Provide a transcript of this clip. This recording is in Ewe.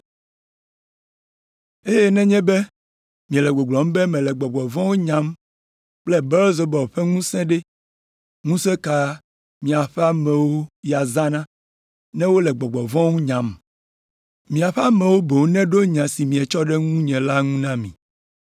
Eye nenye be miele gbɔgblɔm be mele gbɔgbɔ vɔ̃wo nyam kple Belzebul ƒe ŋusẽ ɖe, ŋusẽ ka miaƒe amewo ya zãna ne wole gbɔgbɔ vɔ̃wo nyam? Miaƒe amewo boŋ neɖo nya si mietsɔ ɖe ŋutinye la ŋu na mi.